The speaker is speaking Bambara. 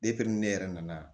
ni ne yɛrɛ nana